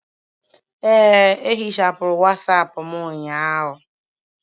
Ee, ehichapụrụ wasapu m ụnyaahụ